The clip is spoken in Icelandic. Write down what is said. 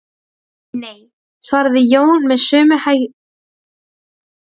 Nei, svaraði Jón með sömu hægðinni og áður.